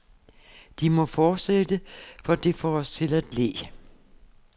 De må fortsætte, for det får os til at le.